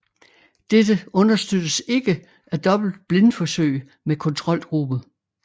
Dette understøttes ikke af dobbeltblindforsøg med kontrolgruppe